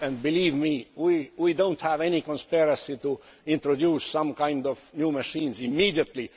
Believe me, we do not have any conspiracy to introduce some kind of new machines immediately